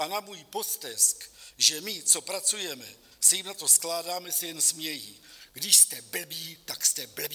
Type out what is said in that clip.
A na můj postesk, že my, co pracujeme, se jim na to skládáme, se jen smějí: když jste blbí, tak jste blbí.